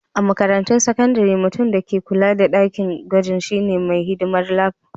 A makarantun sakandare, mutum da ke kulawa da dakin gwajin shine mai hidimar Lab.